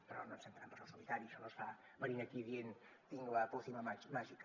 però no ens fem trampes al solitari això no es fa venint aquí dient tinc la pócima màgica